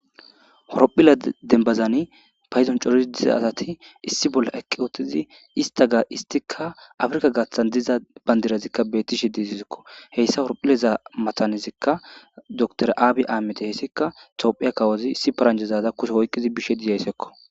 Horophila denbazani payzon corii diza asati issi bolla eqqi ootizi ista ga istika afrika gaathan diza bandirazikka bettishe diizizikko heyssa horophileza matanezikka door aabi aamete heyssika soophiya kawozi issi paranjezaza kushe hoykqizi bishe dizaysekko.